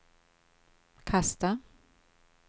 kasta